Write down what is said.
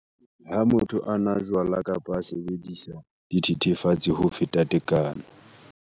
Ha motho a nwa jwala kapa a sebedisa dithethefatsi ho feta tekano.